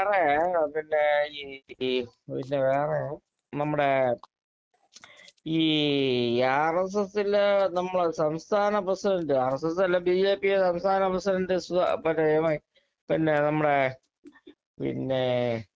വേറെ പിന്നെ ഈ പിന്നെ വേറെ പിന്നെ വേറെ നമ്മടെ ഈ ഈ ആർഎസ്എസ്സിലെ നമ്മളെ ഈ സംസ്ഥാന പ്രസിഡൻറ്റ് ആർഎസ്എസ്സല്ല ബിജെപി യുടെ സംസ്ഥാന പ്രസിഡൻറ്റ് സുധാ പിന്നെ ഇവൻ പിന്നെ നമ്മടെ പിന്നെ